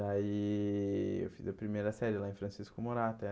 Daí eu fiz a primeira série lá em Francisco Murata.